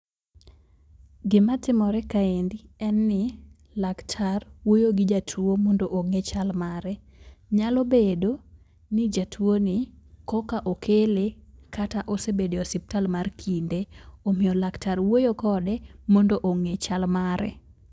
Gima timore kaendi, en ni laktar wuoyo gi jatuo mondo ong'e chal mare. Nyalo bedo ni jatuo ni koka okele kata osebede osiptal mar kinde. Omiyo laktar wuoyo mondo ong'e chal mare.